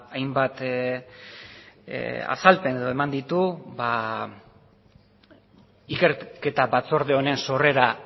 hainbat azalpen edo eman ditu ikerketa batzorde honen sorrera